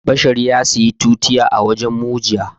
Bashir ya saya tutiya a wurin mu jiya